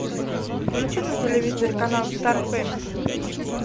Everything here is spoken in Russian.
включи на телевизоре канал стар фэмили